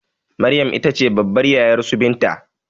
Maryam itace babbar yayarsu binta